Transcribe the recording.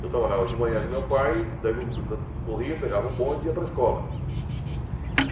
Eu trabalhava de manhã com meu pai, daí eu corria, pegava o bonde e ia para a escola.